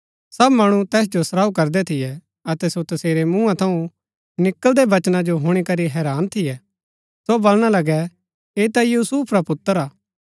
सब मणु तैस जो सराऊ करदै थियै अतै सो तसेरै मुआँ थऊँ निकळदै वचना जो हुणी करी हैरान थियै सो बलणा लगै ऐ ता यूसुफ रा पुत्र हा